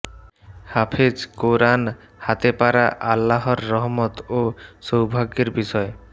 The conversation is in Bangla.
হাফেজ কোরআন হাতে পারা আল্লাহর রহমত ও সৌভাগ্যের বিষয়